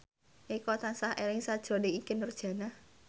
Eko tansah eling sakjroning Ikke Nurjanah